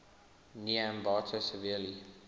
near ambato severely